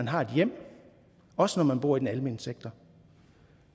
har et hjem også når man bor i den almene sektor